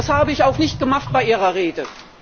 Das habe ich auch nicht gemacht bei Ihrer Rede.